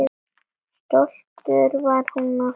Stolt var hún af þeim.